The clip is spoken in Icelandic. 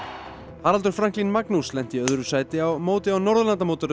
Haraldur Franklín Magnús lenti í öðru sæti á móti á